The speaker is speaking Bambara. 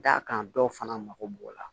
D'a kan dɔw fana mako b'o la